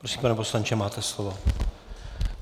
Prosím, pane poslanče, máte slovo.